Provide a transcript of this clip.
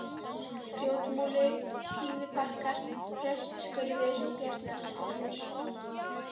Grjótmúli, Pínubakkar, Prestsskurður, Bjarnaskurður